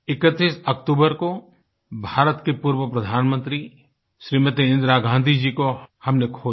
31 अक्तूबर को भारत की पूर्वप्रधानमंत्री श्रीमती इंदिरा गाँधी जी को हमने खो दिया